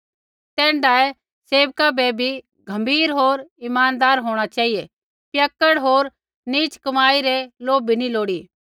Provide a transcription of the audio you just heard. तैण्ढाऐ सेवका बै भी गम्भीर होर ईमानदार होंणा चेहिऐ पियक्कड़ होर नीच कमाई रै लोभी नी लोड़ी